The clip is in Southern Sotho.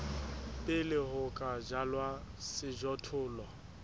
pele ho ka jalwa sejothollo